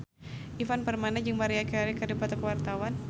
Ivan Permana jeung Maria Carey keur dipoto ku wartawan